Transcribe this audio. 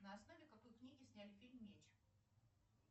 на основе какой книги сняли фильм меч